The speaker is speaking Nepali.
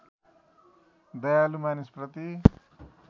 दयालु मानिसप्रति